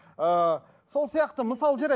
ыыы сол сияқты мысалы жарайды